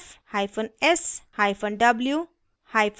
s hyphen s w hyphen w